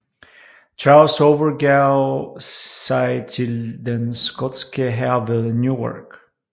Charles overgav sig til den skotske hær ved Newark